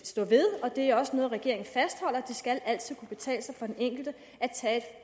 stå ved og det er også noget regeringen fastholder det skal altid kunne betale sig for den enkelte at tage et